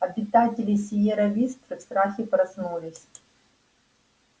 обитатели сиерра висты в страхе проснулись